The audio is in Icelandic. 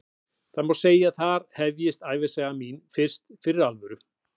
Því má segja að þar hefjist ævisaga mín fyrst fyrir alvöru.